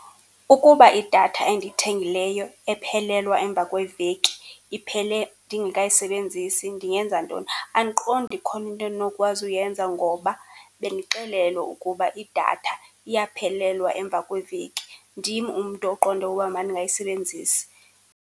Ukuba idatha endiyithengileyo ephelelwa emva kweveki iphele ndingekayisebenzisi ndingenza ntoni? Andiqondi ikhona into endinokwazi ukuyenza ngoba bendixelelwe ukuba idatha iyaphelelwa emva kweveki. Ndim umntu oqonde uba mandingayisebenzisi.